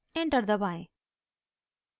enter दबाएं